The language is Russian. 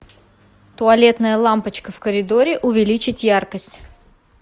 туалетная лампочка в коридоре увеличить яркость